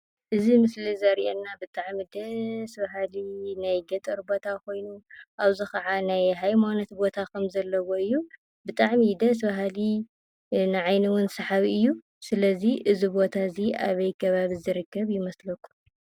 እዚ ምስሊ ዘሪአና ብጣዕሚ ደስ በሃሊ ናይ ገጠር ቦታ ኾይኑ ኣብዚ ኽዓ ናይ ሃይማኖት ቦታ ኸም ዘለዎ እዩ፡፡ ብጣዕሚ ደስ በሃሊ ንዓይኒ እውን ሰሓቢ እዩ፡፡ ስለዚ እዚ ቦታ እዚ ኣበይ ከባቢ ዝርከብ ይመስለኩም ?